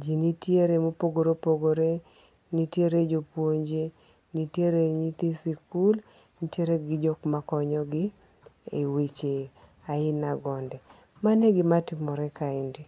Ji nitiere mopogore opogore nitiere jopuonje, nitiere nyithi sikul, nitiere ji jok ma konyogi e weche ainagonde, mano e gimatimore kaendi